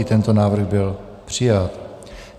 I tento návrh byl přijat.